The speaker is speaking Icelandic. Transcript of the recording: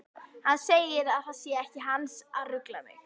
Hann segir að það sé ekki hans að rugla mig.